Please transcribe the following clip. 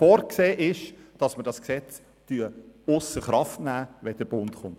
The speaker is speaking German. Vorgesehen ist, dass wir das Gesetz ausser Kraft setzen, sobald eine Bundeslösung besteht.